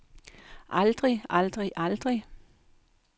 aldrig aldrig aldrig